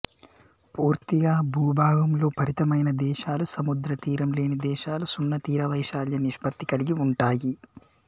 పూర్తిగా భూభాగంలో పరిమితమైన దేశాలు సముద్ర తీరం లేని దేశాలు సున్న తీరవైశాల్య నిష్పత్తి కలిగి ఉంటాయి